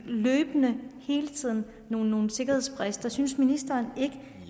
løbende hele tiden opstår nogle sikkerhedsbrister synes ministeren ikke